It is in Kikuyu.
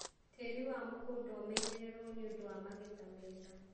Tĩri wa mũgũnda ũmenyerererwo nĩũndũ wa magetha mega.